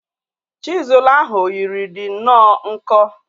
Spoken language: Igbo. Chizul ahu yiri di nnọọ nkọ